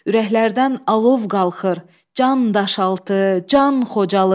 Ürəklərdən alov qalxır, can daşaltı, can Xocalı.